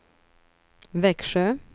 Växjö